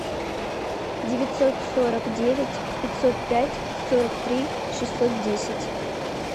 девятьсот сорок девять пятьсот пять сорок три шестьсот десять